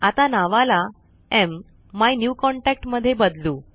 आता नावाला मायन्यूकॉन्टॅक्ट मध्ये बदलू